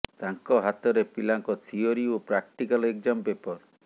ତାଙ୍କ ହାତରେ ପିଲାଙ୍କ ଥିଓରି ଓ ପ୍ରାକ୍ଟିକାଲ ଏକ୍ଜାମ ପେପର